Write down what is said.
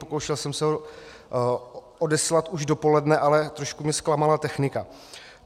Pokoušel jsem se ho odeslat už dopoledne, ale trošku mě zklamala technika.